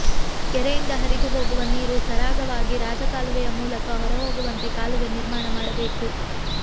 ಕೆರೆಯಿಂದ ಹರಿದು ಹೋಗುವ ನೀರು ಸರಾಗವಾಗಿ ರಾಜಕಾಲುವೆಯ ಮೂಲಕ ಹೊರ ಹೋಗುವಂತೆ ಕಾಲುವೆ ನಿರ್ಮಾಣ ಮಾಡಬೇಕು